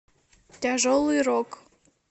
тяжелый рок